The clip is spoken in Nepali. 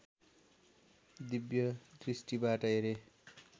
दिव्य दृष्टिबाट हेरे